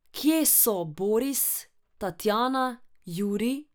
Kje so Boris, Tatjana, Jurij?